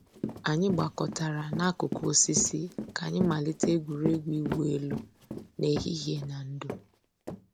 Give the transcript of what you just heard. Ànyị̀ gbàkọ̀tárà n'àkùkò òsìsì kà ànyị̀ màlítè ègwè́régwụ̀ ị̀wụ̀ èlù n'èhìhìè nà ndò̩.